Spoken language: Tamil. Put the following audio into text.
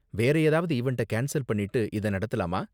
வேற ஏதாவது ஈவண்ட்ட கேன்ஸல் பண்ணிட்டு இத நடத்தலாமா?